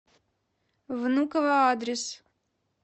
внуково адрес